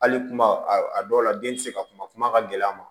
Hali kuma a dɔw la den ti se ka kuma kuma ka gɛlɛn a ma